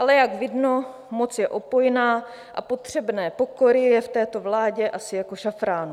Ale jak vidno, moc je opojná a potřebné pokory je v této vládě asi jako šafránu.